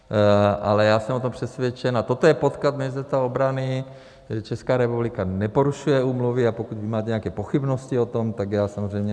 Ale já jsem o tom přesvědčen, a toto je podklad Ministerstva obrany, že Česká republika neporušuje úmluvy, a pokud vy máte nějaké pochybnosti o tom, tak já samozřejmě...